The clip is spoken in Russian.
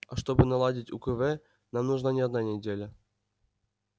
а чтобы наладить укв нам нужна не одна неделя